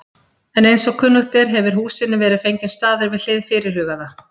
En eins og kunnugt er, hefir húsinu verið fenginn staður við hið fyrirhugaða